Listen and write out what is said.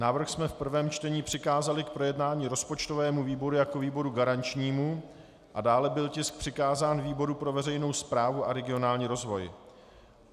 Návrh jsme v prvém čtení přikázali k projednání rozpočtovému výboru jako výboru garančnímu a dále byl tisk přikázán výboru pro veřejnou správu a regionální rozvoj.